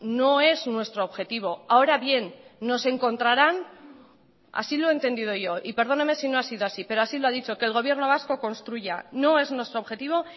no es nuestro objetivo ahora bien nos encontrarán así lo he entendido yo y perdóneme si no ha sido así pero así lo ha dicho que el gobierno vasco construya no es nuestro objetivo